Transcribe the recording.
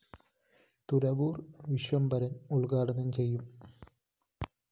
തുറവൂര്‍ വിശ്വംഭരന്‍ ഉദ്ഘാടനം ചെയ്യും